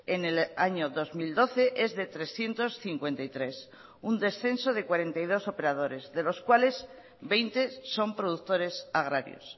en el año dos mil doce es de trescientos cincuenta y tres un descenso de cuarenta y dos operadores de los cuales veinte son productores agrarios